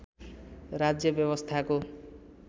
राज्य व्यवस्थाको